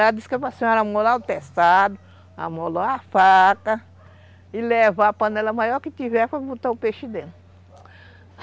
Ela disse que era para senhora amolar o testado, amolou a faca e levar a panela maior que tiver para botar o peixe dentro.